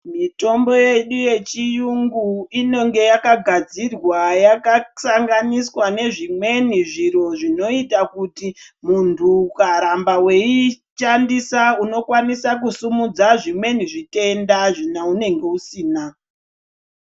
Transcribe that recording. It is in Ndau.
mitombo yedu yechiyungu inonge yakagadzirwa yakasanganiswa nezvimweni zviro, zvinoita kuti muntu ukaramba veiishandisa unokwanisa kusimudza zvimweni zvitenda zvaunenge usina.